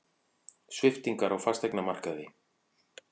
Sviptingar á fasteignamarkaði